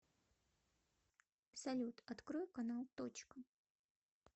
салют открой канал точка